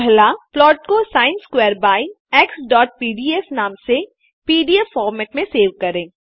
पहला प्लॉट को sin square by xपीडीएफ नाम से पीडीएफ फॉर्मेट में सेव करें